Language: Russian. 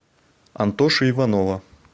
антоши иванова